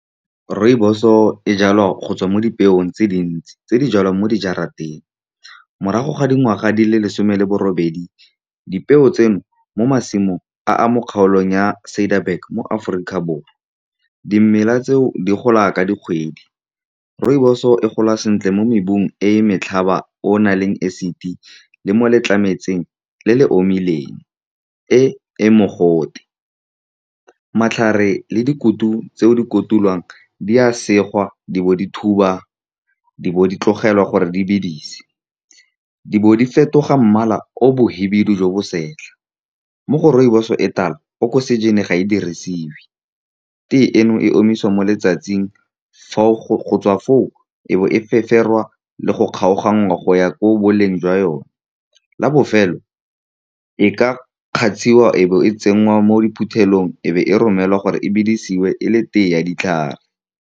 Rooibos-o e jalwa go tswa mo dipeong tse dintsi, di jalwa mo di jarateng. Morago ga dikgwedi di le lesome le borobedi, dipeo di tsenngwa mo masimong a a kgaolwang mo Ciderberg mo Aforika Borwa. Dimela tseno di gola ka dikgwedi. Rooibos-e e gola sentle mo mebung e e motlhaba e e nang le acid le mo letlametlametseng e e omileng e e mogote. Matlhare le dikutu tse di kotulwang di segwa, di bo di thubiwa, di bo di tlogelwa gore di bedise, di bo di fetoga mmala o mokhibidu jo bo setlha. Mo go rooibos-o e e tala oxygen-i ga e dirisiwe. Tea eno e omisiwa mo letsatsing, go tswa foo e be e feferwa le go kgaoganngwa go ya ko boleng jwa yone la bofelo, e ka e a kgatsiwa, e be e tsenngwa mo diphuthelong, e be e romelwa gore e bidisiwe e le tea ya ditlhare.